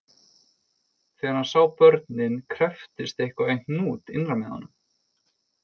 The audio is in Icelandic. Þegar hann sá börnin krepptist eitthvað í hnút innra með honum